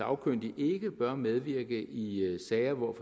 sagkyndig ikke bør medvirke i i sager hvor